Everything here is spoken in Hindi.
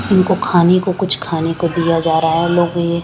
इनको खाने को कुछ खाने को दीया जा रहा है लोग ये--